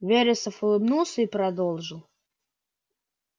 вересов улыбнулся и продолжил